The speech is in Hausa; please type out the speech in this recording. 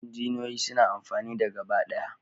Injiniyoyin suna amfani da gabaɗaya